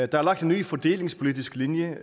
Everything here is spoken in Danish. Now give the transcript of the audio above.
der er lagt en ny fordelingspolitisk linje